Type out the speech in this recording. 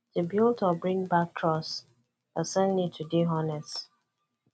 to build or bring back trust person need to dey honest